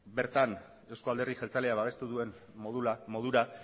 bertan euzko alderdi jeltzalea babestu duen modura